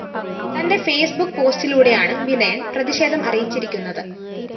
തന്റെ ഫെയ്‌സ്ബുക്ക് പോസ്റ്റിലൂടെയാണ് വിനയന്‍ പ്രതിഷേധം അറിയിച്ചിരിക്കുന്നത്